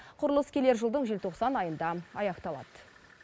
құрылыс келер жылдың желтоқсан айында аяқталады